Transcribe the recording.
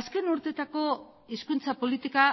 azken urteotako hizkuntza politika